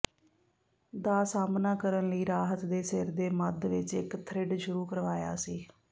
ਦਾ ਸਾਹਮਣਾ ਕਰਨ ਲਈ ਰਾਹਤ ਦੇ ਸਿਰ ਦੇ ਮੱਧ ਵਿੱਚ ਇੱਕ ਥਰਿੱਡ ਸ਼ੁਰੂ ਕਰਵਾਇਆ ਸੀ